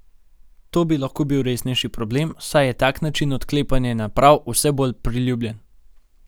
To bi lahko bil resnejši problem, saj je tak način odklepanja naprav vse bolj priljubljen.